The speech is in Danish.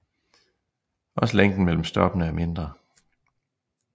Også længden mellem stoppene er mindre